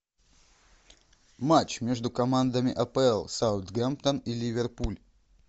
матч между командами апл саутгемптон и ливерпуль